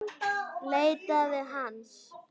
Leitaði hans.